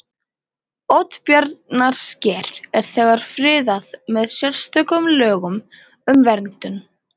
Oddbjarnarsker er þegar friðað með sérstökum lögum um verndun